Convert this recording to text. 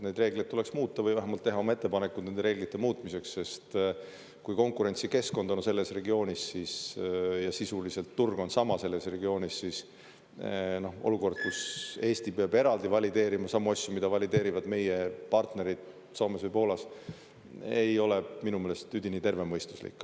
Neid reegleid tuleks muuta või vähemalt teha oma ettepanekud nende reeglite muutmiseks, sest kui konkurentsikeskkond on selles regioonis ja sisuliselt turg on sama selles regioonis, siis olukord, kus Eesti peab eraldi valideerima samu asju, mida valideerivad meie partnerid Soomes või Poolas, ei ole minu meelest üdini tervemõistuslik.